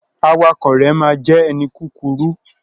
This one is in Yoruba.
Awakọ̀ rẹ ma jẹ ẹni kúkúrú.